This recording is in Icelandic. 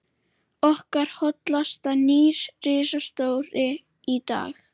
Okkur hlotnast nýr ritstjóri í dag